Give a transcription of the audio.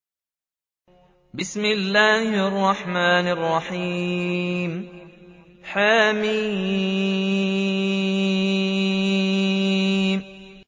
حم